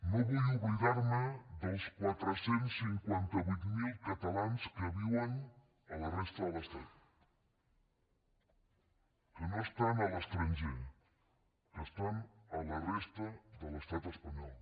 no vull oblidar me dels quatre cents i cinquanta vuit mil catalans que viuen a la resta de l’estat que no estan a l’estranger que estan a la resta de l’estat espanyol